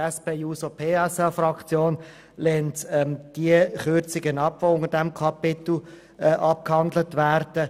Die SP-JUSO-PSA-Fraktion lehnt die Kürzungen ab, die unter diesem Kapitel abgehandelt werden.